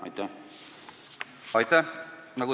Aitäh!